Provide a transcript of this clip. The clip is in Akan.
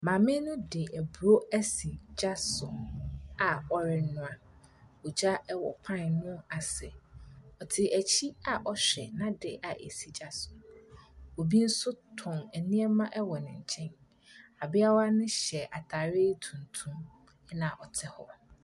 Maame no di aburo asi gya so aa ɔrenua. Ogya ɛwɔ pan no ase, ɔte akyi aa ɔhwɛ n'ade aa asi gya so. Obi nso tɔn ɛneɛma ɛwɔ ne nkyɛn. Abeawa no hyɛ ataare tuntum na ɔte hɔ .